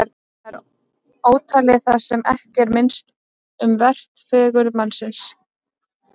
Þá er ótalið það sem ekki er minnst um vert: fegurð mannsins.